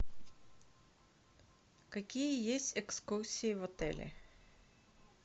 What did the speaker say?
какие есть экскурсии в отеле